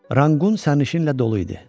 Ranqqun sərnişinlə dolu idi.